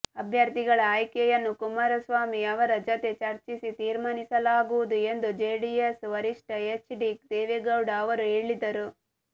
ಅಭ್ಯರ್ಥಿಗಳ ಆಯ್ಕೆಯನ್ನು ಕುಮಾರಸ್ವಾಮಿ ಅವರ ಜತೆ ಚರ್ಚಿಸಿ ತೀರ್ಮಾನಿಸಲಾಗುವುದು ಎಂದು ಜೆಡಿಎಸ್ ವರಿಷ್ಠ ಎಚ್ ಡಿ ದೇವೇಗೌಡ ಅವರು ಹೇಳಿದರು